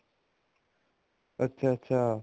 ਅੱਛਾ ਅੱਛਾ